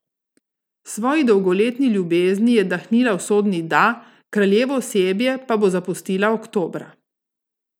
Svoji dolgoletni ljubezni je dahnila usodni da, kraljevo osebje pa bo zapustila oktobra.